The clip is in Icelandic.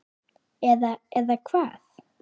Eða, eða hvað?